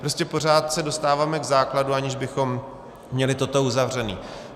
Prostě pořád se dostáváme k základu, aniž bychom měli toto uzavřené.